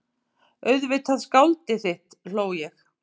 Auðvitað skáldið þitt hló ég.